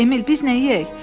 Emil, biz nə yeyək?